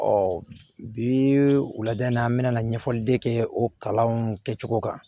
bi u lada in na an bɛna ɲɛfɔli de kɛ o kalan kɛcogo kan